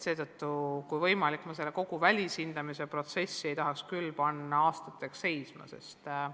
Seetõttu, kui võimalik, ma kogu seda välishindamise protsessi ei tahaks küll aastateks seisma panna.